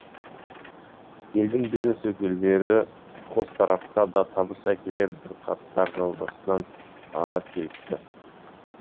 елдің бизнес өкілдері қос тарапқа да табыс әкелер бірқатар жобасын ала келіпті